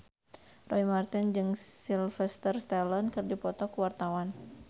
Roy Marten jeung Sylvester Stallone keur dipoto ku wartawan